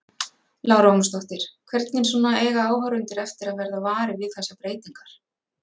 Lára Ómarsdóttir: Hvernig svona eiga áhorfendur eftir að verða varir við þessar breytingar?